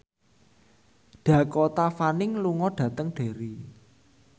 Dakota Fanning lunga dhateng Derry